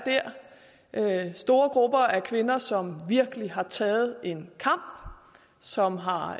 store grupper af kvinder som virkelig har taget en kamp som har